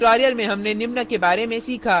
इस tutorial में हमने निम्न के बारे में सीखा